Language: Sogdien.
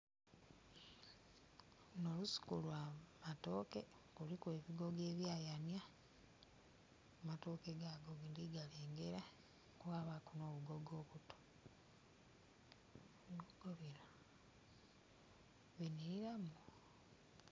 Luno lusuku lwa matooke kuliku ebigogo ebya yanya. Amatooke gago ndi galengera kwabaku obugogo obuto... bunhilira.